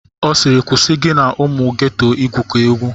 Ọ sịịrị kwụsị gị na ụmụ geto igwukọ egwu!